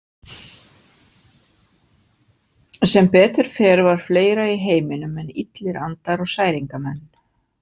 Sem betur fer var fleira í heiminum en illir andar og særingamenn.